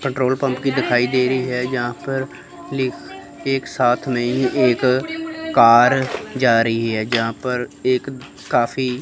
petrol pump की दिखाई दे रही है यहां पर लिख एक साथ मे ही एक कार जा रही है जहां पर एक काफी --